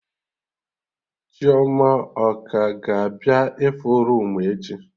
Chioma ọ ka ga-abịa ịfụ roomu echi?